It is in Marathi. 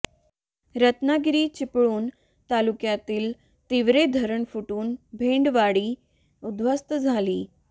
रत्नागिरी चिपळूण तालुक्यातील तिवरे धरण फुटून भेंडवाडी उध्वस्त झाली